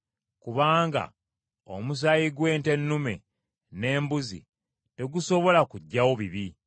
Kubanga omusaayi gw’ente ennume n’embuzi tegusobola kuggyawo bibi.